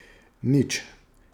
Nič.